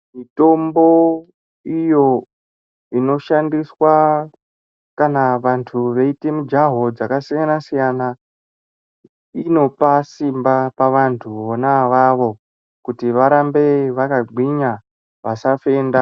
Mutombo iyo inoshandiswa kana vantu veita mujaho yakasiyana siyana Inopa Simba pavantu vona ivavo kuti varambe vakagwinya vasafenda.